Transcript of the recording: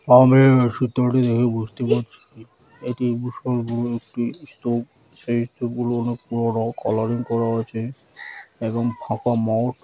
আমরা এই সূত্রটি দেখে বুঝতে পাচ্ছি এটি বিশাল বড় একটি স্তূপ সেই স্তূপগুলো অনেক পুরোনো কালারিং করা আছে এবং ফাঁকা মাঠ--